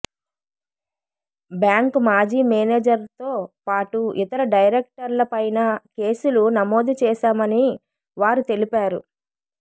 bank మాజీ మేనేజర్తో పాటు ఇతర డైరెక్టర్లపైనా కేసులు నమోదు చేశామని వారు తెలిపారు